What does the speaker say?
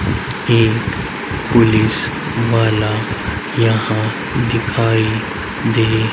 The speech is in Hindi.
एक पुलिस वाला यहां दिखाई दे --